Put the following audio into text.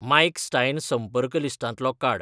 mic Stein संपर्क लिस्टांतलो काड